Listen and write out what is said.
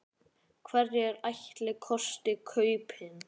Hverjir ætli kosti kaupin?